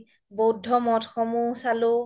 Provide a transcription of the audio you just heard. বৌদ্ধ মৌধ সমুহ চালো